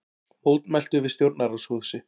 Mótmæltu við stjórnarráðshúsið